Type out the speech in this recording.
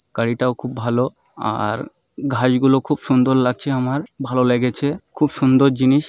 গাড়িটাও খুব ভালো আ-র ঘাস গুলো খুব সুন্দর লাগছে আমার ভালো লেগেছে খুব সুন্দর জিনিস।